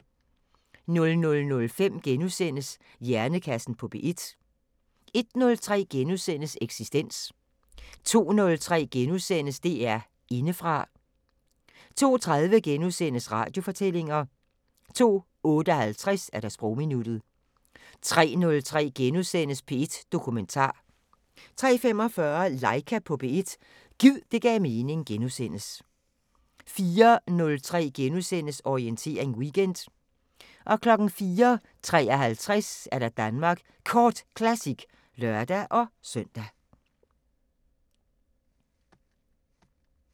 00:05: Hjernekassen på P1 * 01:03: Eksistens * 02:03: DR Indefra * 02:30: Radiofortællinger * 02:58: Sprogminuttet 03:03: P1 Dokumentar * 03:45: Laika på P1 – gid det gav mening * 04:03: Orientering Weekend * 04:53: Danmark Kort Classic (lør-søn)